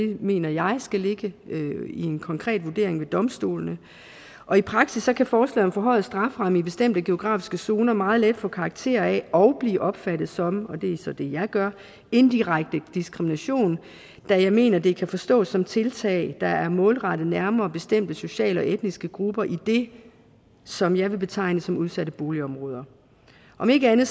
mener jeg skal ligge i en konkret vurdering ved domstolene og i praksis kan forslaget om forhøjet strafferamme i bestemte geografiske zoner meget let få karakter af og blive opfattet som og det er så det jeg gør indirekte diskrimination da jeg mener det kan forstås som tiltag der er målrettet nærmere bestemte sociale og etniske grupper i det som jeg vil betegne som udsatte boligområder om ikke andet